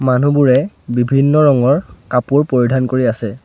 মানুহবোৰে বিভিন্ন ৰঙৰ কাপোৰ পৰিধান কৰি আছে।